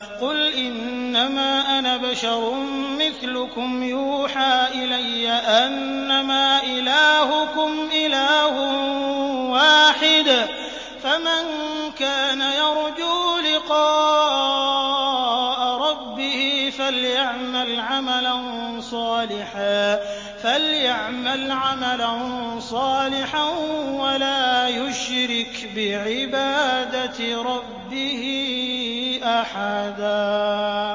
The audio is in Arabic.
قُلْ إِنَّمَا أَنَا بَشَرٌ مِّثْلُكُمْ يُوحَىٰ إِلَيَّ أَنَّمَا إِلَٰهُكُمْ إِلَٰهٌ وَاحِدٌ ۖ فَمَن كَانَ يَرْجُو لِقَاءَ رَبِّهِ فَلْيَعْمَلْ عَمَلًا صَالِحًا وَلَا يُشْرِكْ بِعِبَادَةِ رَبِّهِ أَحَدًا